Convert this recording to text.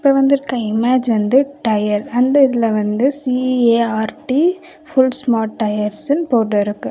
இப்போ வந்துருக்க இமேஜ் வந்து டயர் அந்த இதுல வந்து சி_ஏ_ஆர்_டி ஃபுல் ஸ்மார்ட் டயர்ஸ்னு போட்டுருக்கு.